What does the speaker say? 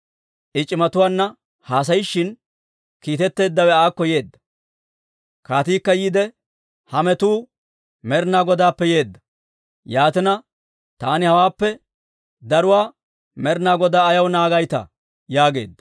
I c'imatuwaanna haasayishin, kiitetteeddawe aakko yeedda. Kaatiikka yiide, «Ha metuu Med'ina Godaappe yeedda. Yaatina taani hawaappe daruwaa Med'ina Godaa ayaw naagaytaa?» yaageedda.